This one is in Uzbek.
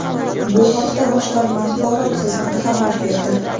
Bu haqda boshqarma axborot xizmati xabar berdi .